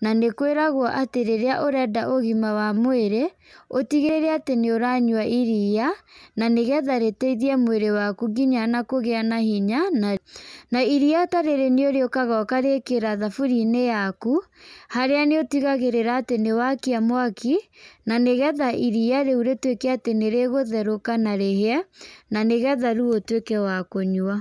na nĩ kwĩragwo atĩ rĩrĩa ũrenda ũgima wa mwĩrĩ, ũtigĩrĩre atĩ nĩ ũranyua iria, na nĩgetha rĩteithie mwĩrĩ waku nginya ona kũgĩa na hinya, na iria ta rĩrĩ nĩ rĩukaga ũkarĩkĩra thaburia-inĩ yaku, harĩa nĩ ũtigagĩrĩra atĩ nĩwakia mwaki ,na nĩgetha iria rĩu rĩtwĩke atĩ nĩrĩkũtherũka na rĩhĩe, na nĩgetha rĩu ũtwĩke wa kũnyua.